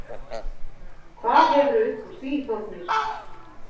Hvað hefurðu uppúr því Þórgnýr?!